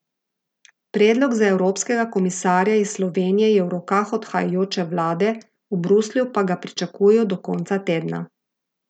Predlog za evropskega komisarja iz Slovenije je v rokah odhajajoče vlade, v Bruslju pa ga pričakujejo do konca tedna.